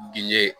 Diinɛ